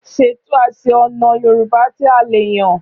Ṣètò àsè ọ̀nà Yorùbá tí a lè yàn.